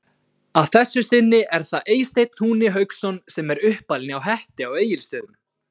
Að þessu sinni er það Eysteinn Húni Hauksson sem er uppalinn hjá Hetti á Egilstöðum.